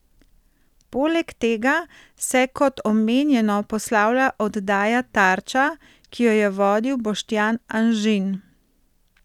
Poleg tega se kot omenjeno poslavlja oddaja Tarča, ki jo je vodil Boštjan Anžin.